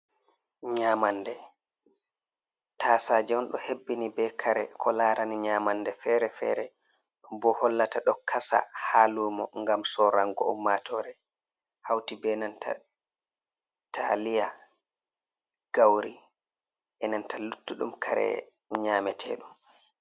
Nyaamannde, taasaaje on ɗo hebbini bee kare ko laarani nyaamannde feere-feere, boo hollata ɗo kasa haa luumo ngam sorranngo ummaatoore, hawti bee nanta taaliya gawri e nanta luttuɗum kare nyaameteeɗum.